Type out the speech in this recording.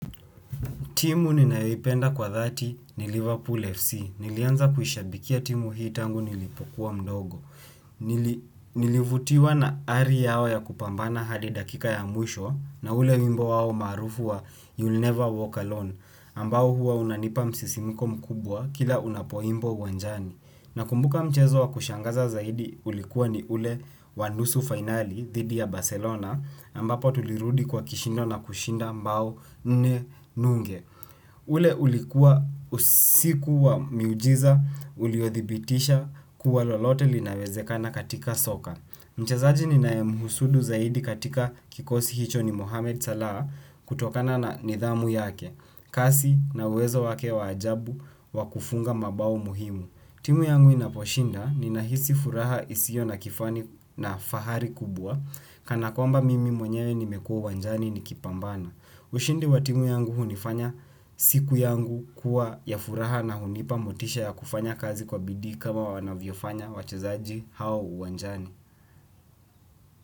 Timu ninayoipenda kwa dhati ni Liverpool FC. Nilianza kuishabikia timu hii tangu nilipokuwa mdogo. Nilivutiwa na ari yao ya kupambana hadi dakika ya mwisho na ule wimbo wao marufu wa you'll never walk alone. Ambao huwa unanipa msisimko mkubwa kila unapoimbwa uwanjani. Nakumbuka mchezo wa kushangaza zaidi ulikuwa ni ule wan nusu finali dhidi ya Barcelona. Ambapo tulirudi kwa kishindo na kushinda mabao nne nunge. Ule ulikuwa usiku wa miujiza uliothibitisha kuwa lolote linawezekana katika soka. Mchezaji ninayemuhusudu zaidi katika kikosi hicho ni Mohammed Salah kutokana na nidhamu yake. Hasi na uwezo wa ajabu wa kufunga mabao muhimu. Timu yangu inaposhinda ninahisi furaha isiyo na kifani na fahari kubwa. Kana kwamba mimi mwenye nimekua uwanjani nikipambana. Ushindi wa timu yangu hunifanya siku yangu kuwa ya furaha na hunipa motisha ya kufanya kazi yangu kwa bidii kama wanavyofanya wachezaji hao uwanjani.